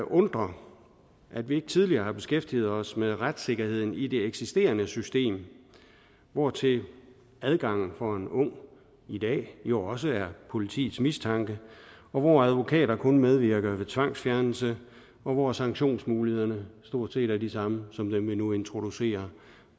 undre at vi ikke tidligere har beskæftiget os med retssikkerheden i det eksisterende system hvortil adgangen for en ung i dag jo også er politiets mistanke og hvor advokater kun medvirker ved tvangsfjernelse og hvor sanktionsmulighederne stort set er de samme som dem vi nu introducerer